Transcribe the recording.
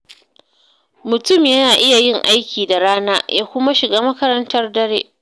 Mutum na iya yin aiki da rana ya kuma shiga makarantar dare.